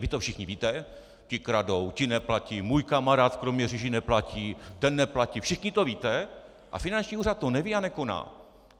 Vy to všichni víte: ti kradou, ti neplatí, můj kamarád v Kroměříži neplatí, ten neplatí - všichni to víte a finanční úřad to neví a nekoná.